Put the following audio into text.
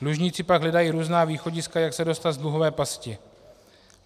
Dlužníci pak hledají různá východiska, jak se dostat z dluhové pasti.